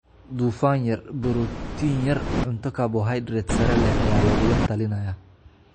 Dufan yar, borotiin yar, cunto karbohaydrayt sare leh ayaa lagula talinayaa.